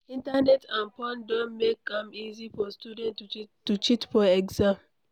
Internet and phone don make am easy for student to cheat for exam